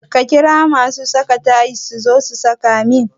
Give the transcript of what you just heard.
Ka ƙira mun masu saka tayil suzo su saka min